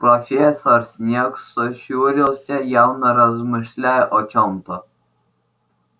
профессор снегг сощурился явно размышляя о чем-то